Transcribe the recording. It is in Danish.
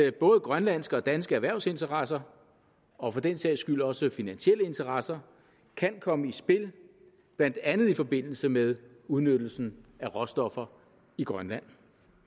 at både grønlandske og danske erhvervsinteresser og for den sags skyld også finansielle interesser kan komme i spil blandt andet i forbindelse med udnyttelsen af råstoffer i grønland